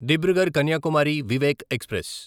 Dibrugarh Kanyakumari Vivek express